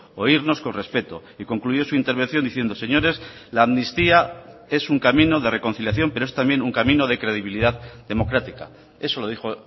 oírnos con respeto y concluyó su intervención diciendo señores la amnistía es un camino de reconciliación pero es también un camino de credibilidad democrática eso lo dijo